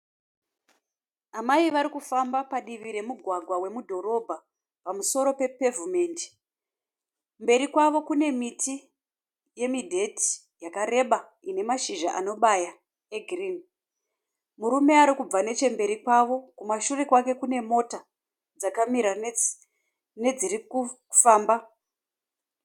Amai vari kufamba padivi remugwagwa wemudhorobha pamusoro pepevhumendi. Mberi kwavo kune miti yemidheti yakareba ine mashizha anobaya egirinhi. Murume arikubva nechemberi kwavo kumashure kwake kune mota dzakamira nedziri kufamba.